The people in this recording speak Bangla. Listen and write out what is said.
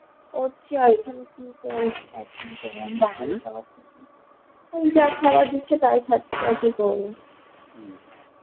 করছি ওই যা খাবার দিচ্ছে তাই খাচ্ছি